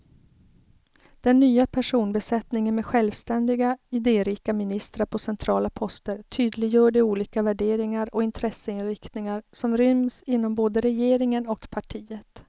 Den nya personbesättningen med självständiga, idérika ministrar på centrala poster tydliggör de olika värderingar och intresseinriktningar som ryms inom både regeringen och partiet.